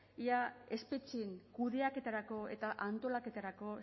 ea espetxeen kudeaketarako eta antolaketarako